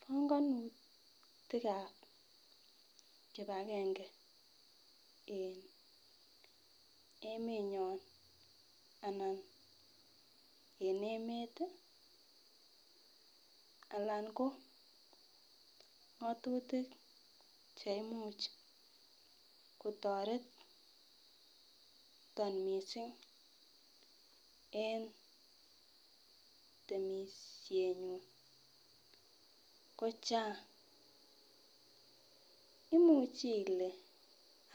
Pongonutikab kipagenge en emenyon ana en emet tii alan ko ngotutik cheimuch kotoreton missing en temishenyun ko chang imuche ile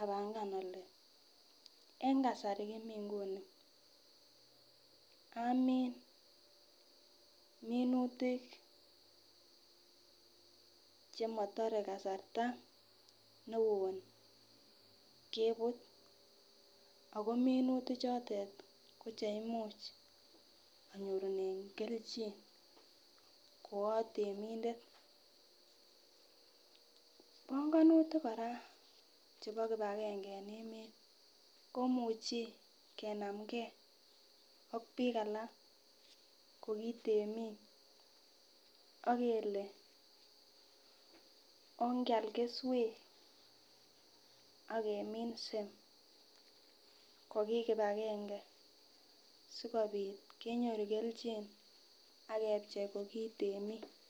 apanga ole en kasari komii nguni amin minutik chemotore kasarta neo kebut Ako minutik chotet ko cheimuch inyorunen keljin ko itemindet. Pongonutik koraa chebo kipagenge en emet komuchi kenamgee ak bik alak ko kitemik ak kele onkial keswek ak keminse ko kipagenge sikopit kenyoru keljin ak kepchei ko kitemik.